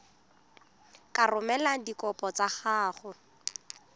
ka romela dikopo tsa gago